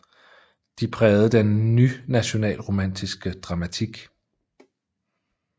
De prægede den ny nationalromantiske dramatik